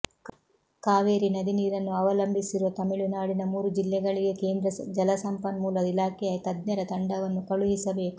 ಕಾವೇರಿ ನದಿ ನೀರನ್ನು ಅವಲಂಬಿಸಿರುವ ತಮಿಳುನಾಡಿನ ಮೂರು ಜಿಲ್ಲೆಗಳಿಗೆ ಕೇಂದ್ರ ಜಲಸಂಪನ್ಮೂಲ ಇಲಾಖೆಯ ತಜ್ಞರ ತಂಡವನ್ನು ಕಳುಹಿಸಬೇಕು